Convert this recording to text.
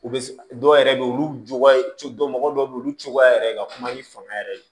U bɛ dɔw yɛrɛ bɛ yen olu cogoya dɔw bɛ yen olu cogoya yɛrɛ ka kuma i fanga yɛrɛ ye